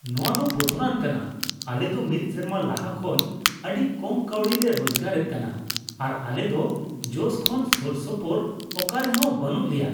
ᱱᱚᱶᱟ ᱫᱚ ᱵᱚᱛᱚᱨᱟᱱ ᱠᱟᱱᱟ ! ᱟᱞᱮ ᱫᱚ ᱢᱤᱫ ᱥᱮᱨᱢᱟ ᱞᱟᱦᱟ ᱠᱷᱚᱱ ᱟᱹᱰᱤ ᱠᱚᱢ ᱠᱟᱹᱣᱰᱤ ᱞᱮ ᱨᱳᱡᱜᱟᱨ ᱮᱫ ᱠᱟᱱᱟ, ᱟᱨ ᱟᱞᱮ ᱫᱚ ᱡᱚᱥ ᱠᱷᱚᱱ ᱥᱳᱨᱥᱳᱯᱳᱨ ᱚᱠᱟᱨᱮᱦᱚᱸ ᱵᱟᱹᱱᱩᱜ ᱞᱮᱭᱟ ᱾